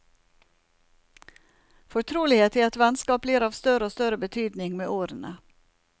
Fortrolighet i et vennskap blir av større og større betydning med årene.